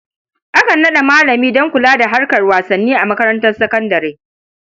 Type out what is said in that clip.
Akan naɗa malami don kula da harkar wasanni a makarantar sakandare.